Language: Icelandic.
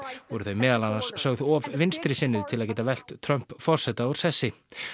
voru þau meðal annars sögð of vinstrisinnuð til að geta velt Trump forseta úr sessi